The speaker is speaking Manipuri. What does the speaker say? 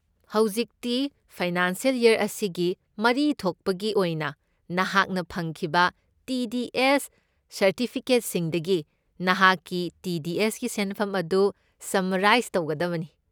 ꯍꯧꯖꯤꯛꯇꯤ ꯐꯥꯏꯅꯥꯟꯁꯤꯑꯦꯜ ꯌꯔ ꯑꯁꯤꯒꯤ ꯃꯔꯤ ꯊꯣꯛꯄꯒꯤ ꯑꯣꯏꯅ ꯅꯍꯥꯛꯅ ꯐꯪꯈꯤꯕ ꯇꯤ. ꯗꯤ. ꯑꯦꯁ. ꯁꯔꯇꯤꯐꯤꯀꯦꯠꯁꯤꯡꯗꯒꯤ ꯅꯍꯥꯛꯀꯤ ꯇꯤ. ꯗꯤ. ꯑꯦꯁ. ꯒꯤ ꯁꯦꯟꯐꯝ ꯑꯗꯨ ꯁꯝꯃꯔꯥꯏꯁ ꯇꯧꯒꯗꯕꯅꯤ꯫